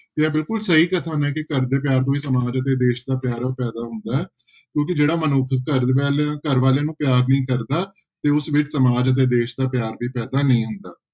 ਤੇ ਇਹ ਬਿਲਕੁਲ ਸਹੀ ਕਥਨ ਹੈ ਕਿ ਘਰਦੇ ਪਿਆਰ ਤੋਂ ਹੀ ਸਮਾਜ ਅਤੇ ਦੇਸ ਦਾ ਪਿਆਰ ਪੈਦਾ ਹੁੰਦਾ ਹੈ ਕਿਉਂਕਿ ਜਿਹੜਾ ਮਨੁੱਖ ਘਰ ਵਾਲੇ ਘਰ ਵਾਲਿਆਂ ਨੂੰ ਪਿਆਰ ਨਹੀਂ ਕਰਦਾ ਤੇ ਉਸ ਵਿੱਚ ਸਮਾਜ ਅਤੇ ਦੇਸ ਦਾ ਪਿਆਰ ਵੀ ਪੈਦਾ ਨਹੀਂ ਹੁੰਦਾ।